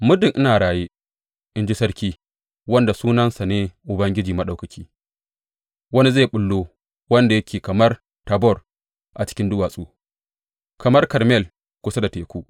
Muddin ina raye, in ji Sarki, wanda sunansa ne Ubangiji Maɗaukaki, wani zai ɓullo wanda yake kamar Tabor a cikin duwatsu, kamar Karmel kusa da teku.